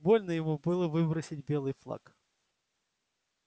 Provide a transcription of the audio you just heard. больно ему было выбросить белый флаг